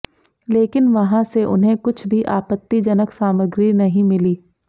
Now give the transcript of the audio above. लेकिन वहां से उन्हें कुछ भी आपत्तिजनक सामग्री नहीं मिली